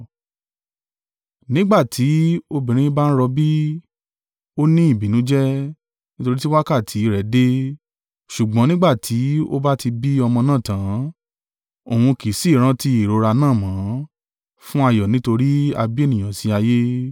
Nígbà tí obìnrin bá ń rọbí, a ní ìbìnújẹ́, nítorí tí wákàtí rẹ̀ dé: ṣùgbọ́n nígbà tí ó bá ti bí ọmọ náà tán, òun kì í sì í rántí ìrora náà mọ́, fún ayọ̀ nítorí a bí ènìyàn sí ayé.